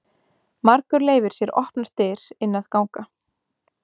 Margur leyfir sér opnar dyr inn að ganga.